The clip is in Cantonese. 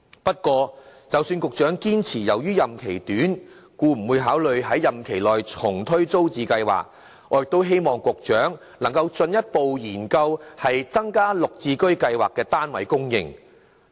不過，即使局長堅持由於任期短而不會考慮在任期內重推租置計劃，我亦希望局長能進一步研究增加綠表置居先導計劃的單位供應。